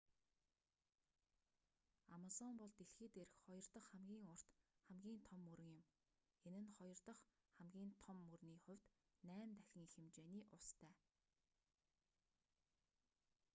амазон бол дэлхий дээрх хоёр дах хамгийн урт хамгийн том мөрөн юм энэ нь хоёр дах хамгийн том мөрний хувьд 8 дахин их хэмжээний устай